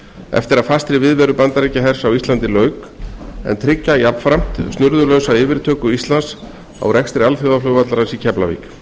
eftir að fastri viðveru bandaríkjahers á íslandi lauk og tryggja snurðulausa yfirtöku íslands á rekstri alþjóðaflugvallarins í keflavík